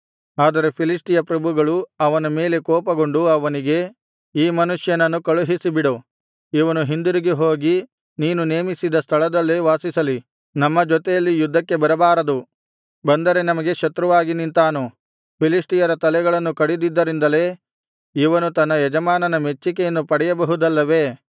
ಆದರೆ ಫಿಲಿಷ್ಟಿಯ ಪ್ರಭುಗಳು ಅವನ ಮೇಲೆ ಕೋಪಗೊಂಡು ಅವನಿಗೆ ಈ ಮನುಷ್ಯನನ್ನು ಕಳುಹಿಸಿಬಿಡು ಇವನು ಹಿಂದಿರುಗಿ ಹೋಗಿ ನೀನು ನೇಮಿಸಿದ ಸ್ಥಳದಲ್ಲೇ ವಾಸಿಸಲಿ ನಮ್ಮ ಜೊತೆಯಲ್ಲಿ ಯುದ್ಧಕ್ಕೆ ಬರಬಾರದು ಬಂದರೆ ನಮಗೆ ಶತ್ರುವಾಗಿ ನಿಂತಾನು ಫಿಲಿಷ್ಟಿಯರ ತಲೆಗಳನ್ನು ಕಡಿದಿದ್ದರಿಂದಲೇ ಇವನು ತನ್ನ ಯಜಮಾನನ ಮೆಚ್ಚಿಕೆಯನ್ನು ಪಡೆಯಬಹುದಲ್ಲವೇ